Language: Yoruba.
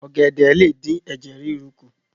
ògèdè lé dín Ẹ̀jẹ̀ ríru kù.